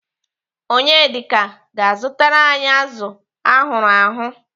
Onyedika ga-azụtara anyị azụ ahụrụ ahụ.